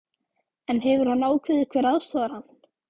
En hefur hann ákveðið hver aðstoðar hann?